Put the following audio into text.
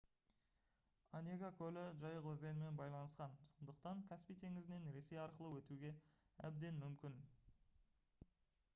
онега көлі жайық өзенімен байланысқан сондықтан каспий теңізінен ресей арқылы өтуге әбден мүмкін